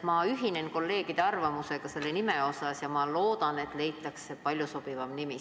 Ma ühinen kolleegide arvamusega selle nime osas ja loodan, et leitakse palju sobivam nimi.